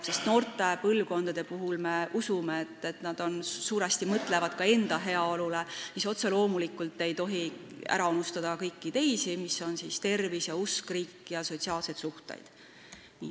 Me usume, et noored põlvkonnad suuresti mõtlevad ka enda heaolule, kuid otse loomulikult ei tohi ära unustada kõiki teisi komponente, need on tervis, usk riiki ja sotsiaalsed suhted.